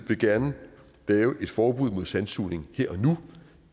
vil gerne lave et forbud mod sandsugning her og nu